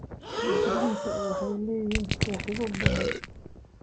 Taajiriinta waxay leeyihiin saaxiibo badan.